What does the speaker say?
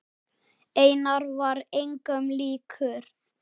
Einar var engum líkur.